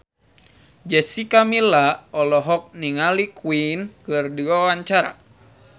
Jessica Milla olohok ningali Queen keur diwawancara